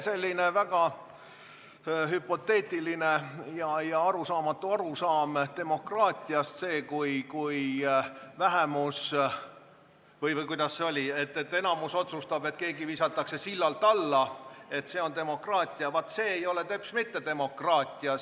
Ja teie väga hüpoteetiline ja arusaamatu arusaam demokraatiast – see, kui enamik otsustab, et keegi visatakse sillalt alla, et see on demokraatia – ei vasta teps mitte demokraatiale.